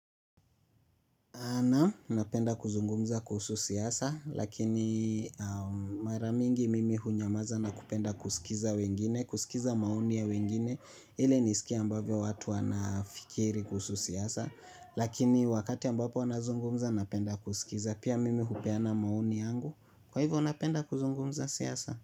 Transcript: Anapenda kuzungumza kuhusu siyasa, lakini mara mingi mimi hunyamaza na kupenda kusikiza wengine, kusikiza maoni ya wengine, ili nisikia ambavyo watu wanafikiri kuhusu siyasa, lakini wakati ambapo anazungumza napenda kusikiza, pia mimi hupeana maoni yangu, kwa hivyo napenda kuzungumza siyasa.